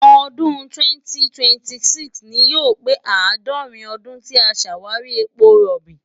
ọdún 2026 ni yóò pé àádọ́rin ọdún tí a ṣàwárí epo rọ̀bì.